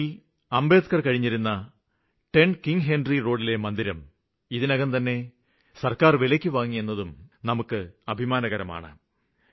ലണ്ടനില് അംബേദ്ക്കര് കഴിഞ്ഞിരുന്ന 10കിങ്ഹെന്ട്രി റോഡിലെ മന്ദിരം ഇതിനകംതന്നെ സര്ക്കാര് വിലയ്ക്കുവാങ്ങിയെന്നതും നമുക്ക് അഭിമാനകരമാണ്